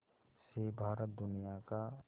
से भारत दुनिया का